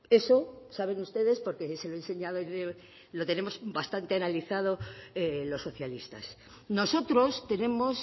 eso saben ustedes porque se lo he enseñado yo lo tenemos bastante analizado los socialistas nosotros tenemos